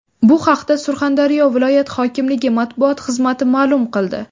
Bu haqda Surxondaryo viloyat hokimligi matbuot xizmati ma’lum qildi.